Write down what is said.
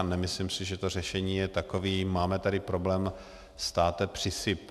A nemyslím si, že to řešení je takové - máme tady problém, státe, přisyp.